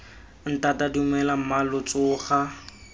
ntata dumela mma lo tsoga